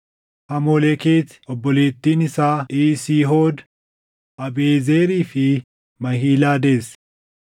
Hamolekeeti obboleettiin isaa Iisihood, Abiiʼezerii fi Mahilaa deesse.